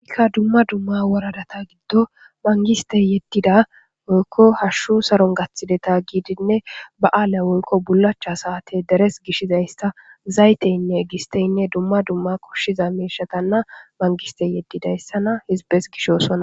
kka dumma dumma woradata giddo mangistey yeddida oykko hashshu saron gaththideta giidinne ba aala woykko bulacha saate deres gishizaysta zayteynne gisteynne dumma dumma koshshiza meishatanna mangistey yeddidayssana hizbes gishosona